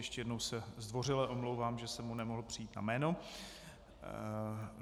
Ještě jednou se zdvořile omlouvám, že jsem mu nemohl přijít na jméno.